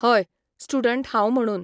हय, स्टुडंट हांव म्हणून